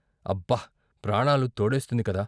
అబ్బ ప్రాణాలు తోడేస్తుంది కద..